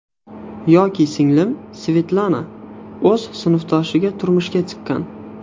Yoki singlim Svetlana o‘z sinfdoshiga turmushga chiqqan.